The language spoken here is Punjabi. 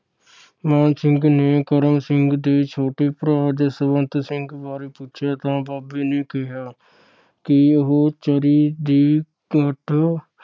ਮਾਣ ਸਿੰਘ ਨੇ ਕਰਮ ਸਿੰਘ ਦੇ ਛੋਟੇ ਭਰਾ ਜਸਵੰਤ ਸਿੰਘ ਬਾਰੇ ਪੁੱਛਿਆ ਤਾਂ ਬਾਬੇ ਨੇ ਕਿਹਾ ਕਿ ਉਹ ਚਰੀ ਦੇ ਭੱਠ